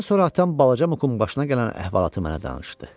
Bundan sonra atam balaca Mukun başına gələn əhvalatı mənə danışdı.